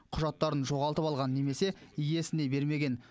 құжаттарын жоғалтып алған немесе иесіне бермеген